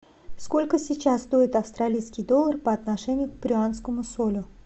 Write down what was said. сколько сейчас стоит австралийский доллар по отношению к перуанскому солю